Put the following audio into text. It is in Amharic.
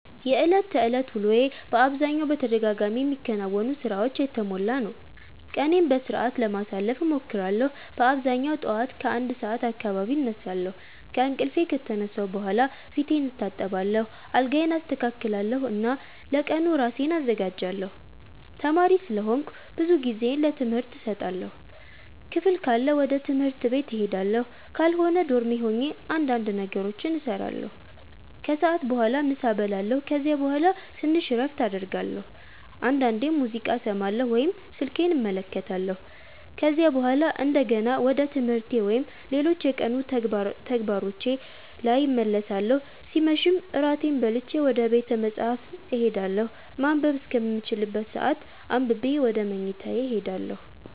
የዕለት ተዕለት ውሎዬ በአብዛኛው በተደጋጋሚ የሚከናወኑ ሥራዎች የተሞላ ነው። ቀኔን በሥርዓት ለማሳለፍ እሞክራለሁ በአብዛኛው ጠዋት ከ1 ሰዓት አካባቢ እነሳለሁ። ከእንቅልፌ ከተነሳሁ በኋላ ፊቴን እታጠባለሁ፣ አልጋዬን አስተካክላለሁ እና ለቀኑ ራሴን አዘጋጃለሁ። ተማሪ ስለሆንኩ ብዙ ጊዜዬን ለትምህርት እሰጣለሁ። ክፍል ካለ ወደ ትምህርት ቤት እሄዳለሁ፣ ካልሆነ ዶርሜ ሆኜ እንዳንድ ነገሮችን እሰራለሁ። ከሰዓት በኋላ ምሳ እበላለሁ ከዚያ በኋላ ትንሽ እረፍት አደርጋለሁ፣ አንዳንዴም ሙዚቃ እሰማለሁ ወይም ስልኬን እመለከታለሁ። ከዚያ በኋላ እንደገና ወደ ትምህርቴ ወይም ሌሎች የቀኑ ተግባሮቼ ላይ እመለሳለሁ ሲመሽም እራቴን በልቼ ወደ ቤተ መፃህፍት እሄዳለሁ ማንበብ እስከምችልበት ሰአት አንብቤ ወደ መኝታዬ እሄዳለሁ።